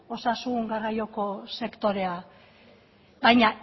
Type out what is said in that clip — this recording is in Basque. osasun garraioko sektorea baina